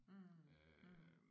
Mh mh